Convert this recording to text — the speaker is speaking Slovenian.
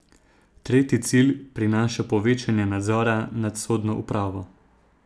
Tretji cilj prinaša povečanje nadzora nad sodno upravo.